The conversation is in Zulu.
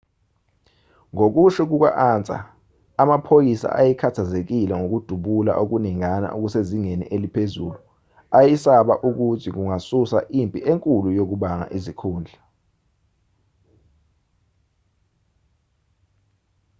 ngokusho kuka-ansa amaphoyisa ayekhathazekile ngokudubula okuningana okusezingeni eliphezulu ayesaba ukuthi kungasusa impi enkulu yokubanga izikhundla